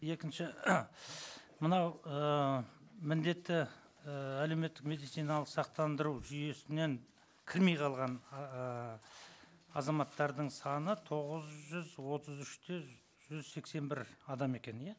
екінші мынау ыыы міндетті ііі әлеуметтік медициналық сақтандыру жүйесінен кірмей қалған ыыы азаматтардың саны тоғыз жүз отыз үш те жүз сексен бір адам екен иә